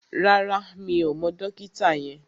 Rárá, mi ò mọ dókítà yẹn